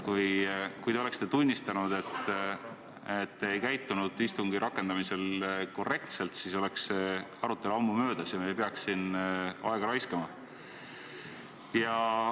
Kui te oleksite tunnistanud, et te ei käitunud istungi rakendamisel korrektselt, siis oleks see arutelu ammu möödas ja me ei peaks siin aega raiskama.